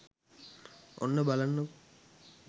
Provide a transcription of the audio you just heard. ඔන්න බලන්නකො